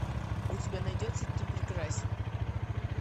у тебя найдется ты прекрасен